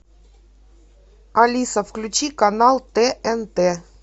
алиса включи канал тнт